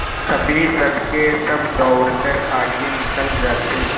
कभी सबके सब दौड़कर आगे निकल जाते